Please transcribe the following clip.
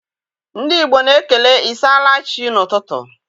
Ndị Igbo na-ekele ịsaala chi n'ụtụtụ.